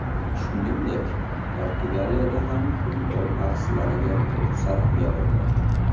Shuningdek, Portugaliyada ham futbol bahslariga ruxsat berildi .